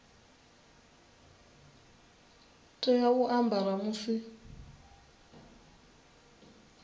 tea u a ambara musi